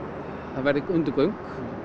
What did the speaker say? það verði undirgöng